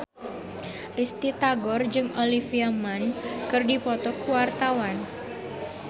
Risty Tagor jeung Olivia Munn keur dipoto ku wartawan